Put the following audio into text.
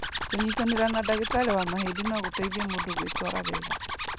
Kũnyitanĩra na ndagĩtarĩ wa mahĩndĩ no gũteithie mũndũ gwĩtwara wega.